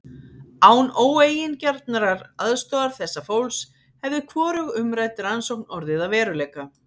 Án óeigingjarnrar aðstoðar þessa fólks hefði hvorug umrædd rannsókn orðið að veruleika.